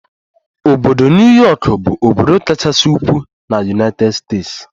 Obodo New Yọkụ bụ obodo kachasị ukwuu na United States.